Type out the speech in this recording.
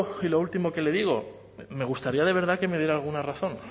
y lo último que le digo me gustaría de verdad que me diera alguna razón